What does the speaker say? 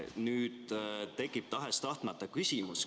Nüüd tekib tahes-tahtmata küsimus.